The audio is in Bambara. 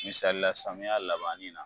Misali la samiya labanni na